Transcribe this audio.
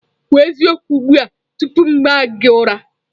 Kwuo eziokwu ugbu a tupu m aa gị ụra!